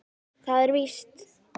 Það er víst.